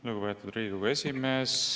Lugupeetud Riigikogu esimees!